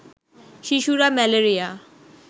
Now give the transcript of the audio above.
শিশুরা ম্যালেরিয়া